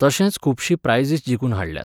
तशेंच खुबशीं प्रायझीस जिखून हाडल्यांत.